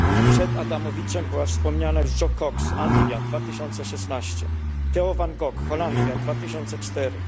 Przed Adamowiczem była wspomniana już Jo Cox Anglia, 2016 r., Theo van Gogh Holandia, 2004